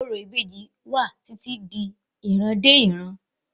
Orò ìbejì sí wà títí di ìran dé ìran